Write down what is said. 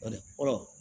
Kɔni